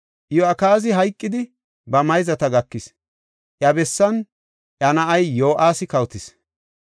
Iyo7akaazi hayqidi, ba mayzata gakis; iya bessan iya na7ay Yo7aasi kawotis.